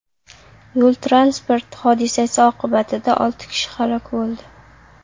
Yo‘l-transport hodisasi oqibatida olti kishi halok bo‘ldi.